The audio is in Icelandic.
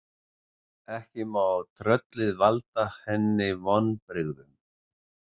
Ekki má tröllið valda henni vonbrigðum.